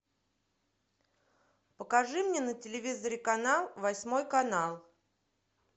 покажи мне на телевизоре канал восьмой канал